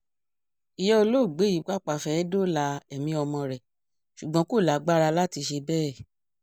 ìyá olóògbé yìí pàápàá fẹ́ẹ́ dóòlà ẹ̀mí ọmọ rẹ̀ ṣùgbọ́n kò lágbára láti ṣe bẹ́ẹ̀